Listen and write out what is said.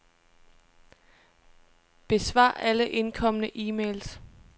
Besvar alle indkomne e-mails.